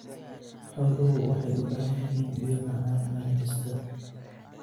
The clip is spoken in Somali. Xooluhu waxay u baahan yihiin biyo macaan maalin kasta.